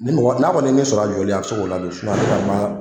Ni mɔgɔ n'a kɔni ye ne sɔrɔ a jɔli a bɛ se k'o ladon